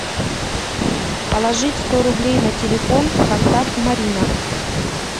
положить сто рублей на телефон контакт марина